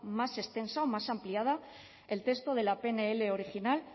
más extensa o más ampliada el texto de la pnl original